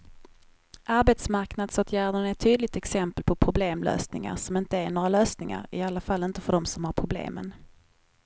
Arbetsmarknadsåtgärderna är ett tydligt exempel på problemlösningar som inte är några lösningar, i alla fall inte för dem som har problemen.